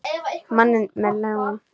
Manninn með ljáinn.